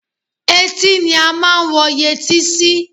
Etí ni a máa ń wọ yẹtí sí